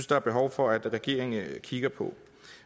der er behov for at regeringen kigger på